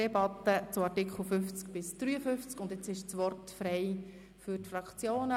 Jetzt ist das Wort frei für die Fraktionen.